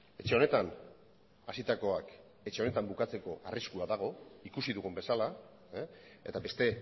etxe honetan hasitakoak etxe honetan bukatzeko arriskua dago ikusi dugun bezala eta beste